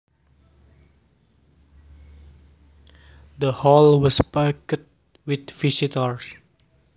The hall was packed with visitors